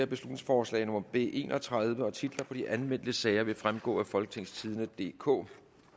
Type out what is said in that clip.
beslutningsforslag nummer b en og tredive titler på de anmeldte sager vil fremgå af folketingstidende DK